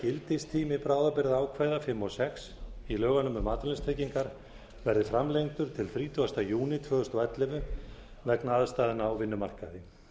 gildistími bráðabirgðaákvæða fimm og sex í lögunum um atvinnuleysistryggingar verði framlengdur til þrítugasta júní tvö þúsund og ellefu vegna aðstæðna á vinnumarkaði